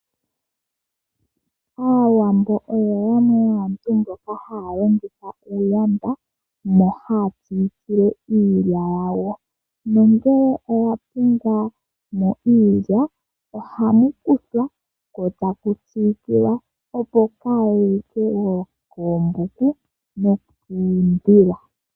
Aawambo oyo yamwe yaantu mboka haya longitha uuyanda mono haya siikile iilya yawo, nongele oya pumbwamo iilya, ohamu kuthwa ko ta ku siikilwa opo kayi like woo koombuku nokuudhila.